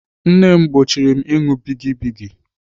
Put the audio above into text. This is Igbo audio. Nne m gbochiri ịṅụ bigi bigi.